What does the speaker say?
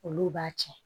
Olu b'a tiɲɛ